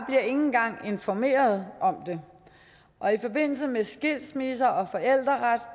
engang informeret om det og i forbindelse med skilsmisser og forældreret